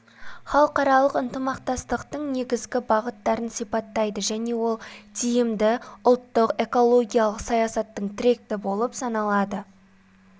халықаралық ынтымақтастықтың негізгі бағыттарын сипаттайды және ол тиімді ұлттық экологиялық саясаттың тірек белгісі болып саналады